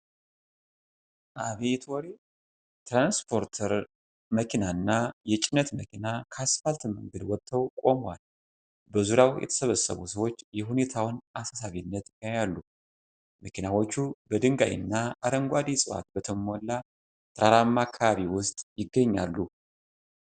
አቤት ወሬ! ትራንስፖርተር መኪናና የጭነት መኪና ከአስፓልት መንገድ ወጥተው ቆመዋል። በዙሪያው የተሰበሰቡ ሰዎች የሁኔታውን አሳሳቢነት ያያሉ። መኪናዎቹ በድንጋይና አረንጓዴ እፅዋት በተሞላ ተራራማ አካባቢ ውስጥ ይገኛሉ።